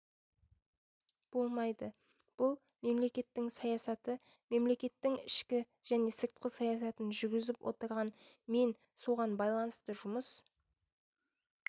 болмайды бұл мемлекеттің саясаты мемлекеттің ішкі және сыртқы саясатын жүргізіп отырған мен соған байланысты жұмыс